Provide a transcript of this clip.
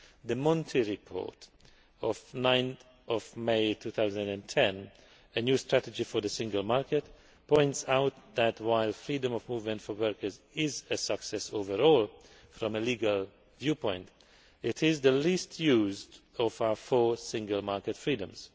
The Monti Report of 9 May 2010 A New Strategy for the Single Market' points out that, while freedom of movement for workers is a success overall from a legal viewpoint, it is the least used of our four Single Market freedoms.